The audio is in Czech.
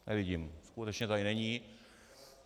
Nevidím, skutečně tady není.